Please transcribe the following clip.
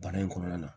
Baara in kɔnɔna na